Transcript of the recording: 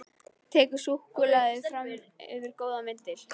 Tekur súkkulaði fram yfir góðan vindil.